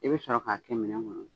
I bɛ sɔrɔ k'a kɛ minɛ kɔnɔ.